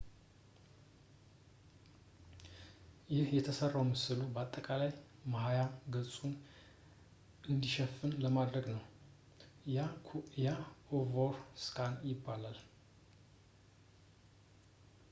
ይህ የተሠራው ምስሉ አጠቃላይ ማያ ገጹን እንዲሸፍን ለማድረግ ነው ያ ኦቨር ስካን ይባላል